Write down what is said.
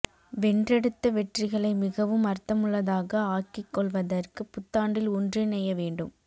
வென்றெடுத்த வெற்றிகளை மிகவும் அர்த்தமுள்ளதாக ஆக்கிக் கொள்வதற்கு புத்தாண்டில் ஒன்றிணைய வேண்டும்